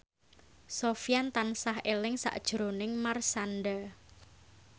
Sofyan tansah eling sakjroning Marshanda